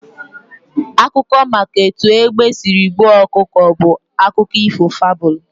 Akụkọ maka etu egbe sịrị gbuo ọkụkọ bụ akụkọ ifo fabụlu